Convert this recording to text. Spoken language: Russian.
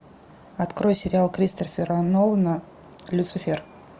открой сериал кристофера нолана люцифер